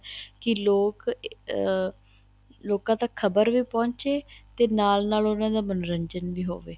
ਕੀ ਲੋਕ ਅਹ ਲੋਕਾਂ ਤੱਕ ਖਰਬ ਵੀ ਪਹੁੰਚੇ ਤੇ ਨਾਲ ਨਾਲ ਉਹਨਾ ਦਾ ਮੰਨੋਰੰਜਨ ਵੀ ਹੋਵੇ